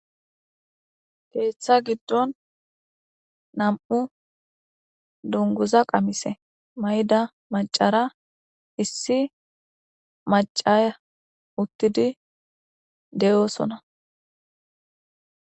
Keeththa giddon nam7u dunguza qamise mayda macara issi macara uttidi de7oosona